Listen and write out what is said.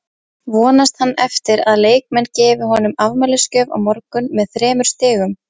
Vonast hann eftir að leikmenn gefi honum afmælisgjöf á morgun með þremur stigum?